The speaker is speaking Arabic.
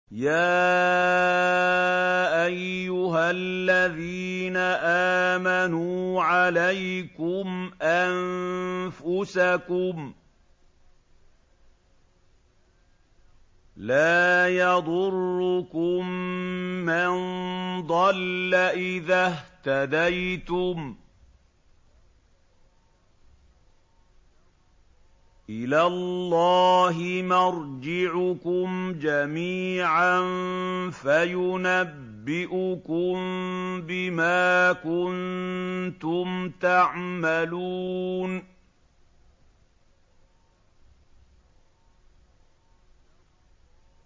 يَا أَيُّهَا الَّذِينَ آمَنُوا عَلَيْكُمْ أَنفُسَكُمْ ۖ لَا يَضُرُّكُم مَّن ضَلَّ إِذَا اهْتَدَيْتُمْ ۚ إِلَى اللَّهِ مَرْجِعُكُمْ جَمِيعًا فَيُنَبِّئُكُم بِمَا كُنتُمْ تَعْمَلُونَ